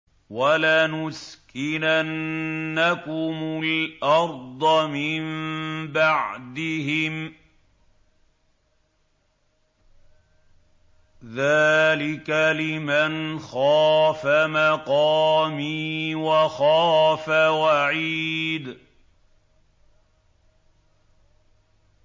وَلَنُسْكِنَنَّكُمُ الْأَرْضَ مِن بَعْدِهِمْ ۚ ذَٰلِكَ لِمَنْ خَافَ مَقَامِي وَخَافَ وَعِيدِ